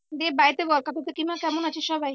দিয়ে বাড়িতে বল কাকু কাকিমা কেমন আছে সবাই?